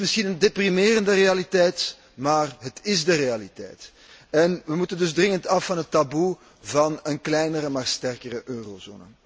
Het is misschien een deprimerende realiteit, maar het is de realiteit. We moeten dus dringend af van het taboe van een kleinere, maar sterkere eurozone.